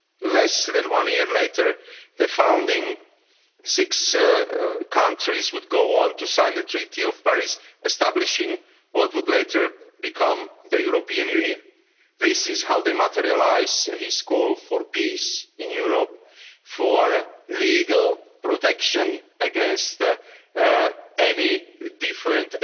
up. Less than one year later, the founding six countries would go on to sign the Treaty of Paris, establishing what would later become the European Union. This is how they materialised his call for peace in Europe and for legal protection against the different